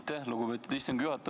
Aitäh, lugupeetud istungi juhataja!